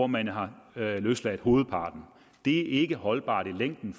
man har løsladt hovedparten det er ikke holdbart i længden